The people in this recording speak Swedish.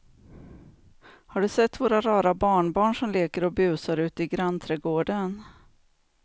Har du sett våra rara barnbarn som leker och busar ute i grannträdgården!